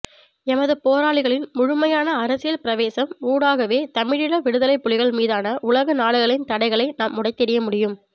எமது போராளிகளின் முழுமையான அரசியல் பிரவேசம் ஊடாகவே தமிழீழ விடுதலைப் புலிகள் மீதான உலகநாடுகளின் தடைகளை நாம் உடைத்தெறிய முடியும்